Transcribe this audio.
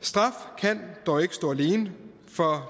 straf kan dog ikke stå alene for